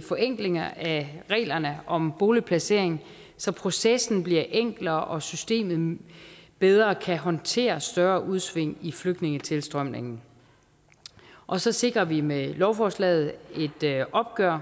forenklinger af reglerne om boligplacering så processen bliver enklere og systemet bedre kan håndtere større udsving i flygtningetilstrømningen og så sikrer vi med lovforslaget et opgør